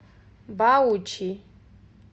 баучи